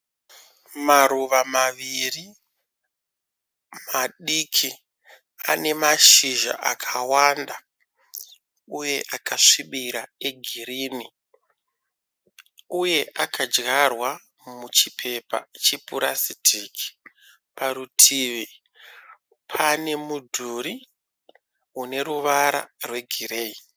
Maruva maviri madiki. Ane mashizha akawanda uye akasvibira egirini uye akadyarwa muchipepa chepurasitiki. Parutivi pane mudhuri uneruvara rwegireyi.